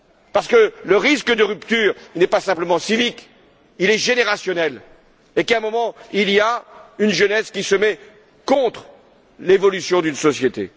Parce que le risque de rupture n'est pas simplement civique, il est générationnel et qu'à un moment, il y a une jeunesse qui se met en porte à faux avec l'évolution d'une société.